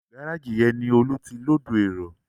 Gárájì yẹn ni Olú ti lóòdù èrò